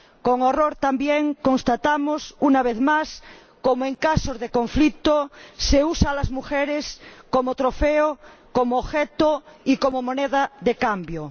Con horror constatamos, una vez más, cómo en casos de conflicto se usa a las mujeres como trofeo, como objeto y como moneda de cambio.